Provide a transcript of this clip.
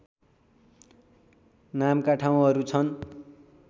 नामका ठाउँहरू छन्